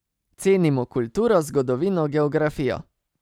Cenimo kulturo, zgodovino, geografijo ...